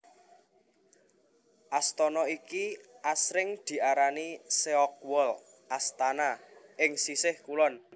Astana iki asring diarani Seogwol Astana ing Sisih Kulon